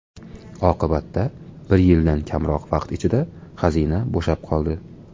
Oqibatda, bir yildan kamroq vaqt ichida xazina bo‘shab qoldi.